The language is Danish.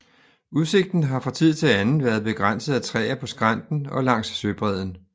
Udsigten har fra tid til anden været begrænset af træer på skrænten og langs søbredden